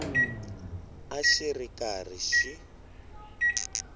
a xi ri karhi xi